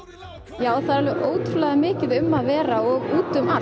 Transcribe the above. já það er mikið um að vera út um allt